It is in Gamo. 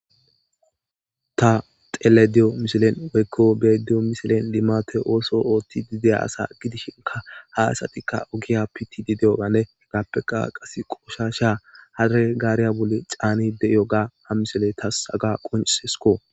Ha telediyo misilen woykko bediyo misilen limato ooso oothti dideya asa gidishinka ha asatikka ogiya pitidi deyoganne hegappeqa qase qosha sha hare gaariya bule caanide yoga ha misile tas aga qonsesko.